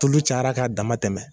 Tulu cayara k'a dama tɛmɛ.